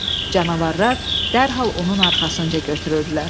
Canavarlar dərhal onun arxasınca götürüldülər.